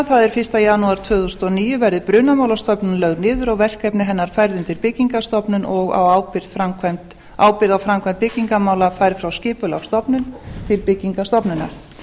það er fyrsta janúar tvö þúsund og níu verði brunamálastofnun lögð niður og verkefni hennar færð undir byggingarstofnun og ábyrgð á framkvæmdum byggingarmála færð frá skipulagsstofnun til byggingarstofnunar